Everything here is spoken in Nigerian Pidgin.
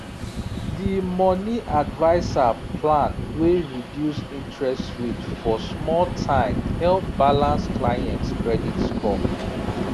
the money adviser plan wey reduce interest rate for small time help balance clients credit score